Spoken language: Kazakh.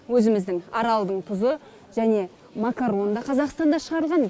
өзіміздің аралдың тұзы және макарон да қазақстанда шығарылған